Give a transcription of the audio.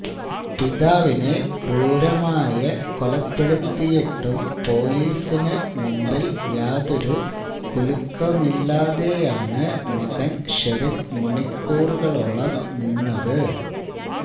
പിതാവിനെ ക്രൂരമായ കൊലപ്പെടുത്തയട്ടും പോലീസിന് മുന്നില് യാതൊരു കുലുക്കവുമില്ലാതെയാണ് മകന് ഷെറിന് മണിക്കൂറുകളോളം നിന്നത്